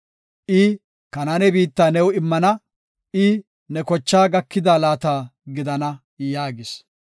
I, “Kanaane biitta new immana; I ne kochaa gakida laata gidana” yaagis.